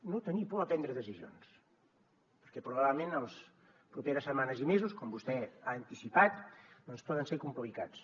no tenir por a prendre decisions perquè probablement les properes setmanes i mesos com vostè ha anticipat poden ser complicats